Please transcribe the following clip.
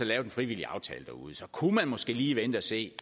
lavet en frivillig aftale derude og så kunne man måske lige vente og se